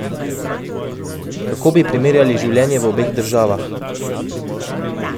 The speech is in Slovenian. Kako bi primerjali življenje v obeh državah?